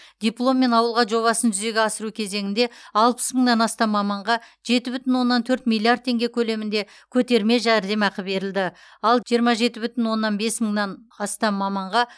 дипломмен ауылға жобасын жүзеге асыру кезеңінде алпыс мыңнан астам маманға жеті бүтін оннан төрт миллиард теңге көлемінде көтерме жәрдемақы берілді ал жиырма жеті бүтін оннан бес мыңнан астам маманға